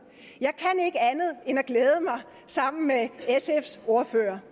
jeg at glæde mig sammen med sfs ordfører